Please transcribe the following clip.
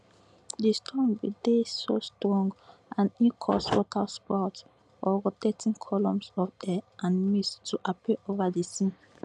di storm bin dey so strong and e cause waterspouts or rotating columns of air and mist to appear ova di sea